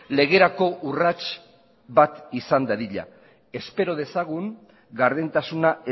legerako urrats bat izan dadila espero dezagun gardentasuna